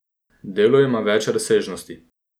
Delo ima več razsežnosti.